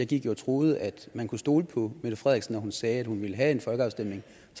gik jo og troede at man kunne stole på mette frederiksen når hun sagde at hun ville have en folkeafstemning